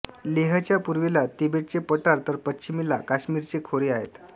लेहच्या पूर्वेला तिबेटचे पठार तर पश्चिमेला काश्मीरचे खोरे आहेत